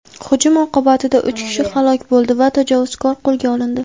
Hujum oqibatida uch kishi halok bo‘ldi va tajovuzkor qo‘lga olindi.